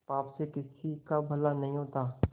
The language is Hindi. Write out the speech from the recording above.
पाप से किसी का भला नहीं होता